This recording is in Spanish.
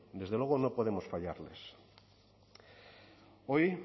desde luego no podemos fallarles hoy